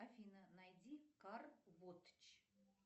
афина найди кар вотч